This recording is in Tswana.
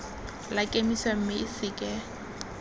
la kemiso mme o seke